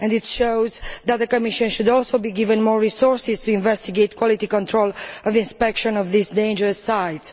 It also shows that the Commission should also be given more resources to investigate quality control and inspection of these dangerous sites.